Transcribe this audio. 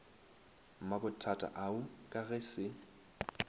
mabothata ao ka ge se